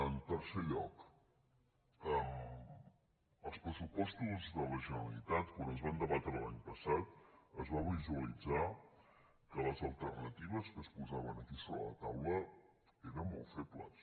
en tercer lloc els pressupostos de la generalitat quan es van debatre l’any passat es va visualitzar que les alternatives que es posaven aquí sobre la taula eren molt febles